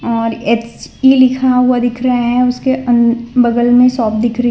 और एच_पी लिखा दिख रहा है उसके अन बगल में शॉप दिख रही है।